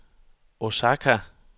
Osaka